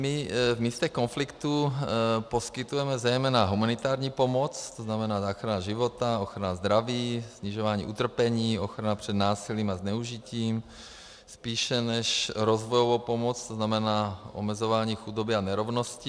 My v místech konfliktů poskytujeme zejména humanitární pomoc, to znamená záchrana života, ochrana zdraví, snižování utrpení, ochrana před násilím a zneužitím, spíše než rozvojovou pomoc, to znamená omezování chudoby a nerovnosti.